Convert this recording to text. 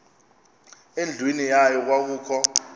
endlwini yayo kwakukho